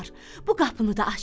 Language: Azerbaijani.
Bu qapını da açdı.